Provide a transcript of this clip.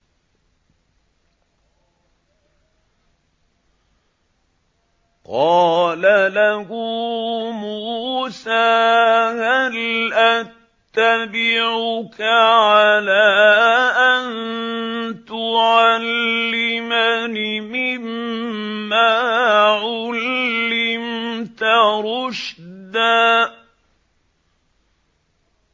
قَالَ لَهُ مُوسَىٰ هَلْ أَتَّبِعُكَ عَلَىٰ أَن تُعَلِّمَنِ مِمَّا عُلِّمْتَ رُشْدًا